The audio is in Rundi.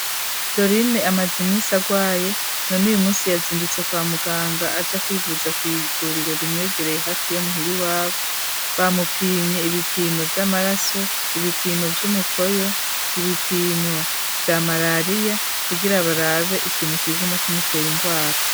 dor ine amazimisi agwaye none uyu munsi yazindutse kwa muganga aja kwivuza ku iguriro rimwegereye hafi yo muhiri wabo bamupimye ibipimo by'amaraso ibipimo by'umukoyo ibipimo bya malariya kubgira abarabe ikintu kiguma k'imutera ingwara